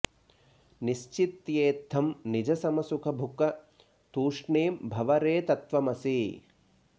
निश्चित्येत्थं निज समसुख भुक तूष्णीं भव रे तत्त्वमसि